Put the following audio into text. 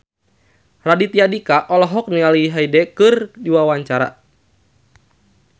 Raditya Dika olohok ningali Hyde keur diwawancara